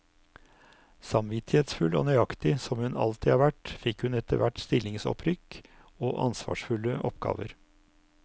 Samvittighetsfull og nøyaktig som hun alltid har vært, fikk hun etterhvert stillingsopprykk og ansvarsfulle oppgaver.